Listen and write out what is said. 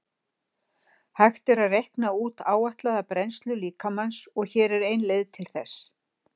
Hægt er að reikna út áætlaða brennslu líkamans og hér er ein leið til þess.